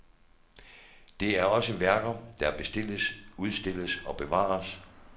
Det er også værker, der bestilles, udstilles og bevares.